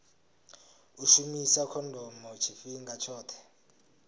u shumisa khondomo tshifhinga tshoṱhe